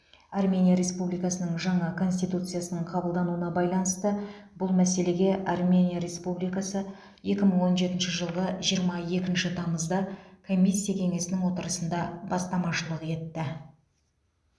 армения республикасының жаңа конституциясының қабылдануына байланысты бұл мәселеге армения республикасы екі мың он жетінші жылғы жиырма екінші тамызда комиссия кеңесінің отырысында бастамашылық етті